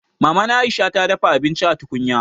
Maman Aisha ta dafa abinci a tukunya